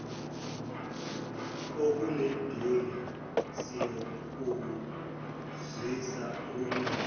okunedumbe siyokuzwisa ubumnandi